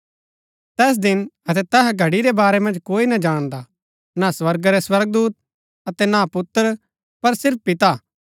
तैस दिन अतै तैहा घड़ी रै बारै मन्ज कोई ना जाणदा न स्वर्गा रै स्वर्गदूत अतै ना पुत्र पर सिर्फ पिता